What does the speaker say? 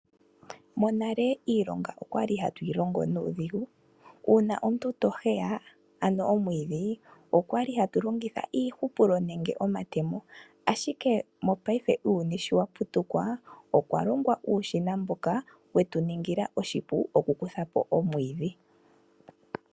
Monale iilonga okwa li hatu yi longo nuudhigu, uuna omuntu to heya ano omwiidhi okwa li hatu longitha iihupulo nenge omatemo ashike mopaife uuyuni sho wa putuka, okwa longwa uushina mboka wetu ningila oshipu oku kutha po omwiidhi .